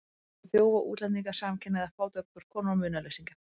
Hún skrifar um þjófa, útlendinga, samkynhneigða, fátækar konur og munaðarleysingja.